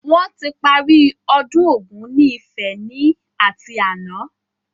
Wọn tí parí ọdún Ògún ni Ifẹ̀ ni ati àná